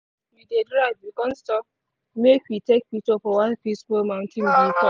we dey drive we con stop make we take picture for one peaceful mountain viewpoint.